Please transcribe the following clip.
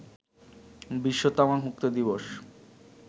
বিশ্ব তামাকমুক্ত দিবস